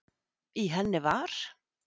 í henni var